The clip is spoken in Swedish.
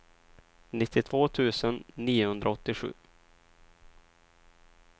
nittiotvå tusen niohundraåttiosju